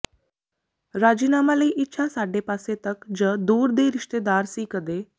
ਰਾਜੀਨਾਮਾ ਲਈ ਇੱਛਾ ਸਾਡੇ ਪਾਸੇ ਤੱਕ ਜ ਦੂਰ ਦੇ ਰਿਸ਼ਤੇਦਾਰ ਸੀ ਕਦੇ